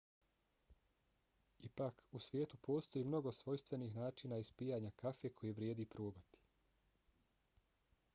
ipak u svijetu postoji mnogo svojstvenih načina ispijanja kafe koje vrijedi probati